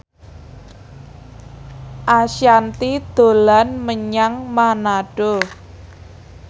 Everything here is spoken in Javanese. Ashanti dolan menyang Manado